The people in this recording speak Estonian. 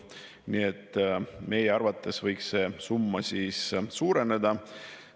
Nii et meie arvates võiks see summa suureneda.